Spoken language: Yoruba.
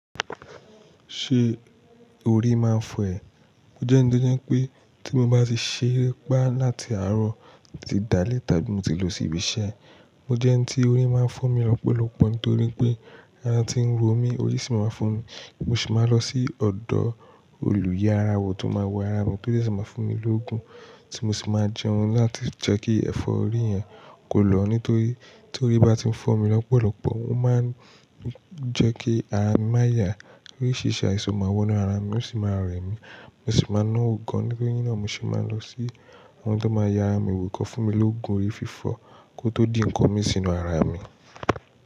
Ṣé orí máa ń fọ́ ẹ? Mo jẹ́ ẹniti ó jẹ́ pé tí mo bá ti ṣeré ipá láti àárọ̀ títi dálé tàbí mo ti lọ sí ibi iṣẹ́, mo jẹ́ ẹni tí orí máa ń fọ́ mi lọ́pọ̀lọpọ̀ nítorí pé ara ti ń ro mí, orí sì máa ń fọ́ mi. Mo sì máa lọ sí ọ̀dọ̀ olùyẹ ara wo tun máa wo ara mi to ṣése máa fún mi lógun tí mo sì máa jẹun láti jẹ́ kí ẹ̀fọ́rí yẹn kó lọ nítorí tí orí bá ti ń fọ́ mi lọ́pọ̀lọpọ̀, ó máa ń jẹ́ kí ara mi máa yá, orísìrisi àìsàn máa wọ inú ara mi, ó sì máa rẹ mí. Mo sì máa náwo gan nítorí naa mo se máa n lọ sí àwọn tó máa ye ara mi wò kí wọ́n fún mi lóògùn orí fífọ́ kó tó dì nkán mi sínú ara mi.